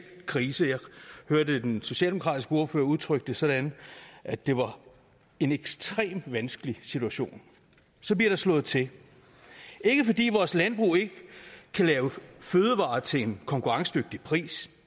krise jeg hørte den socialdemokratiske ordfører udtrykke det sådan at det var en ekstremt vanskelig situation så bliver der slået til ikke fordi vores landbrug ikke kan lave fødevarer til en konkurrencedygtig pris